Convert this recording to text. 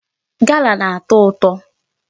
Gala na-atọ ụtọ.